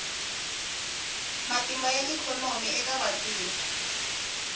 matimba ya ikhonomi eka vantima